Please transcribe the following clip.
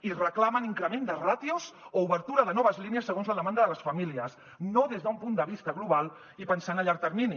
i reclamen increment de ràtios o obertura de noves línies segons la demanda de les famílies no des d’un punt de vista global i pensant a llarg termini